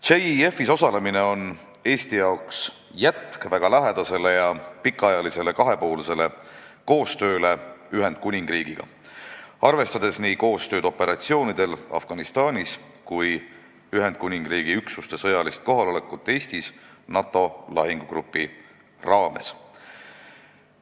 JEF-is osalemine on jätk väga lähedasele ja pikaajalisele kahepoolsele koostööle Eesti ja Ühendkuningriigi vahel, arvestades nii operatsioone Afganistanis kui ka Ühendkuningriigi üksuste sõjalist kohalolekut Eestis NATO lahingugrupis.